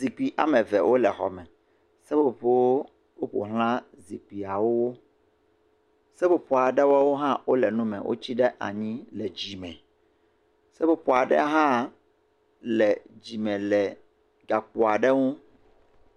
Zikpui ame eve wole xɔ me. Seƒoƒo woƒoxla zikpuiawo. Seƒoƒo aɖewo hã wole nu me wotsi ɖe anyi le dzime. Seƒoƒo aɖe hã le dzime le gakpo aɖe ŋu.